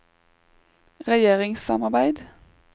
regjeringssamarbeid